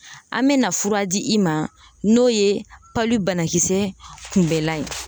An bɛ na fura di i ma, n'o ye banakisɛ kunbɛlan ye.